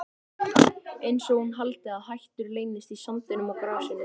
Einsog hún haldi að hættur leynist í sandinum og grasinu.